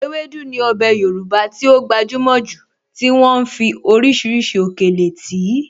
Ewédú ní ọbẹ̀ Yorùbá tí ó gbajúmọ̀ jù tí wọ́n ń fi oríṣiríṣi òkèlè tì í.